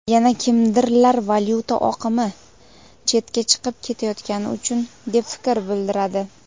yana kimdirlar valyuta oqimi chetga chiqib ketayotgani uchun deb fikr bildiradi.